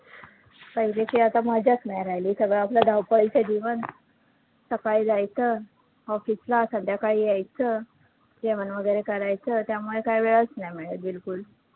पाहिलेची आता मजाचं नाही राहिली, सगळं आपलं धावपळीचं जीवन, सकाळी जायचं office ला, संध्याकाळी यायचं. जेवण वैगरे करायचं, त्यामुळे काही वेळचं नाही मिळतं बिलकुल